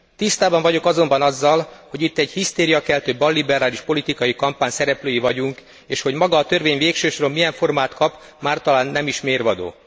Tisztában vagyok azonban azzal, hogy itt egy hisztériakeltő balliberális politikai kampány szereplői vagyunk, és hogy maga a törvény végső soron milyen formát kap, már talán nem is mérvadó.